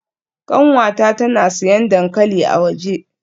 Kanwata tana siyan dankali a waje.